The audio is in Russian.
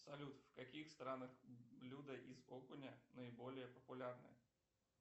салют в каких странах блюда из окуня наиболее популярны